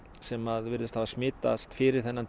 sem virðast hafa smitast fyrir þennan